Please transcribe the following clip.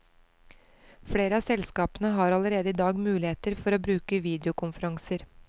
Flere av selskapene har allerede i dag muligheter for å bruke videokonferanser.